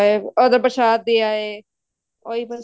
ਆਏ ਉਹਦੋ ਪ੍ਰਸ਼ਾਦ ਦੇ ਆਏ ਉਹੀ ਬੱਸ